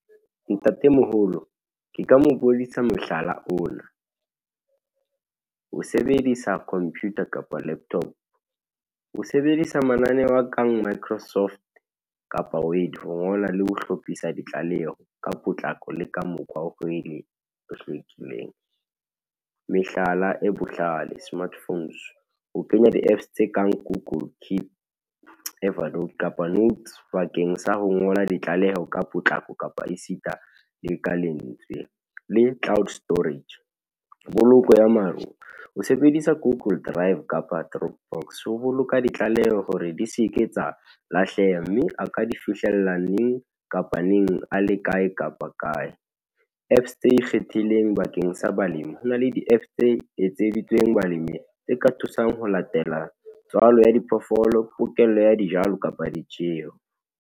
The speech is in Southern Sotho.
Ntatemoholo, ke ka mobonisa mohlala ona, ho sebedisa computer kapa laptop, ho sebedisa mananeo a kang microsoft kapa wait ho ngola le ho hlophisa ditlaleho, ka potlako le ka mokgwa oo e hlwekileng. Mehlala e bohlale, smartphones, ho kenya di-apps tse kang google keep, overload, kapa notes bakeng sa ho ngola ditlaleho ka potlako, kapa esita le ka lentswe, le cloud storage, boloko ya maru o sebedisa google drive kapa troop box, ho boloka ditlaleho hore di seke tsa lahleha, mme a ka di fihlella neng kapa neng, a le kae kapa kae. Apps tse ikgethileng bakeng sa balemi, ho na le di-apps tse etseditsweng balemi, tse ka thusang ho latela tswalo ya diphoofolo, pokello ya dijalo, kapa ditjeho.